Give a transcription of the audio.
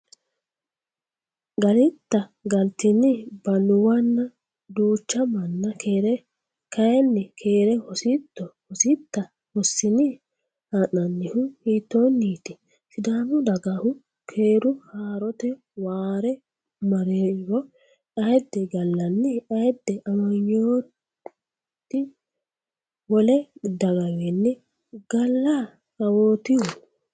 galitta? galtini? Balluwanna duucha manna keere kayinni, keere hositto? hositta? hossini? haa’nannihu hiittoonniiti? Sidaamu dagahu keere haa’rate waare marriro, Ayidde gallanni? Ayidde amanyooti wole dagawiinni gala kawootihu?